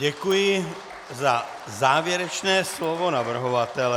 Děkuji za závěrečné slovo navrhovatele.